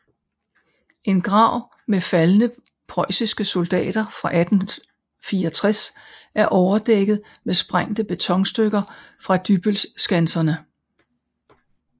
En grav med faldne preussiske soldater fra 1864 er overdækket med sprængte betonstykker fra Dybbølskanserne